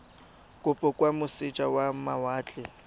kopo kwa moseja wa mawatle